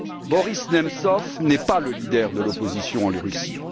Boris Nemtsov n'est pas le leader de l'opposition en Russie.